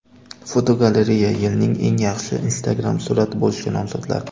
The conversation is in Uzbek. Fotogalereya: Yilning eng yaxshi Instagram surati bo‘lishga nomzodlar.